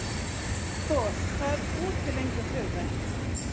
Thor, hvað er opið lengi á þriðjudaginn?